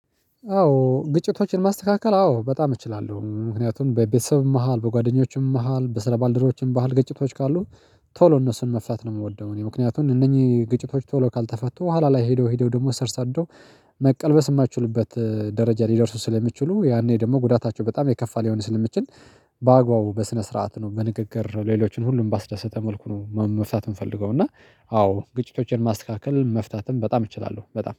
አዎ ግጭቶችን ማስተካከል አዎ በጣም እችላለሁ ምክንያቱም በቤተሰብም መሃል በጓደኞችም መሃል በስለባልደሮችም ባህል ገጭቶች ካሉ ቶሎ እነሱን መፍታት ነው የምወደው። እኔ ምክንያቱም እነኚህ ግጭቶች ቶሎ ካልተፈቱ በኋላ ላይ ሄደው ሄደው ደግሞ ሰር ሰደው መቀልበስ የማትችሉበት ደረጃ ሊደርሱ ስለሚችሉ ያኔ ደግሞ ጉዳታቸው በጣም የከፋ ሊሆን ስለሚችል። በአግባቡ በስነ ስርዓት ነው በንግግር ሌሎችን ሁሉም ባስደሰተ መልኩ ነው መፍታት የምፈልገው። እና አዎ ግጭቶችን ማስካከል መፍታትም በጣም እችላለሁ በጣም